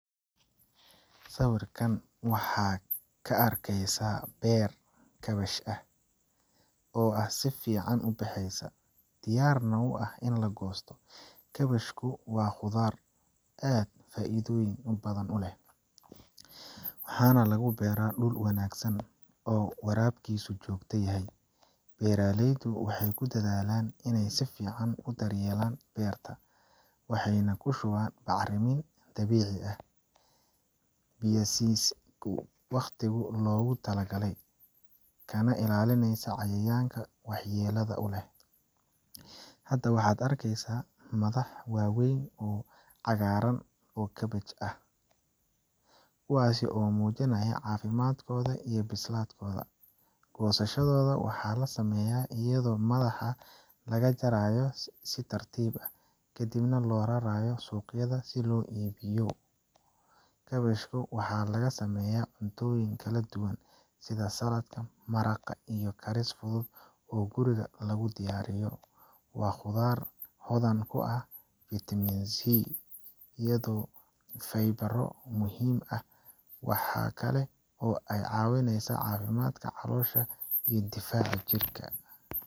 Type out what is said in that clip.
Sawirkan waxaad ka arkaysaa beer kaabash ah oo si fiican u bexeysa, diyaarna u ah in la goosto. Kaabashku waa khudrad aad u faa’iidoyon badan u leh, waxaana lagu beeraa dhul wanaagsan oo waraabkiisu joogto yahay. Beeraleydu waxay ku dadaalann in ay si fiican u daryeelaan beertan waxay ku shubeen bacriminta dabiiciga ah, biyaysiyeen wakhtigii loogu talagalay, kana ilaalineysa cayayaanka waxyeelada leh. Hadda, waxaad arkaysaa madax waaweyn oo cagaaran oo kaabash ah, kuwaas oo muujinaya caafimaadkooda iyo bislaatkooda. Goosashada waxaa la sameeyaa iyadoo madaxa laga jaro si tartiib ah, kadibna loo raraayo suuqyada si loo iibiyo. Kaabashka waxaa laga sameeyaa cuntooyin kala duwan sida salad, maraq, iyo karis fudud oo guriga lagu diyaariyo. Waa khudrad hodan ku ah vitamin C, iyo faybaro muhiim ah. Waxa kale oo ay ka caawinesaa caafimaadka caloosha iyo difaaca jirka.